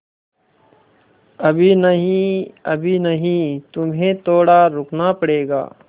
अभी नहीं अभी नहीं तुम्हें थोड़ा रुकना पड़ेगा